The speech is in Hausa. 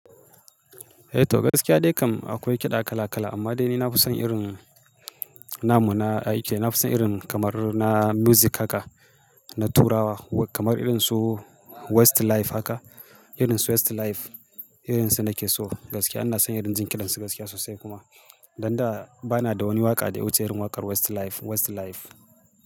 Eh to gaskiya dai kam akwai kiɗa kala kala, amma dai ni na fi son irin namu na, aike na fi son irin kamar na music haka na turawa kamar irin su Westlife haka. Irin su Westlife, irin su nake so gaskiya. Ana sanya dinjin irin su gaskiya sosai kuma. Dan da ba na da wani waƙa da ya wuce irin waƙar Westlife, Westlife.